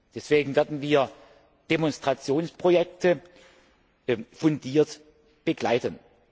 Deswegen werden wir Demonstrationsprojekte fundiert begleiten.